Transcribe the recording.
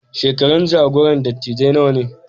Shekarun jagoran dattijai nawa ne?